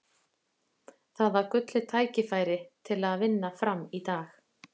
Það var gullið tækifæri til að vinna Fram í dag.